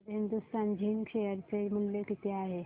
आज Hindustan Zinc share चे मूल्य किती आहे